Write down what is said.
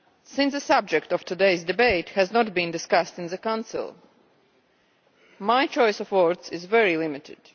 Since the subject of today's debate has not been discussed in the Council, my choice of words is very limited.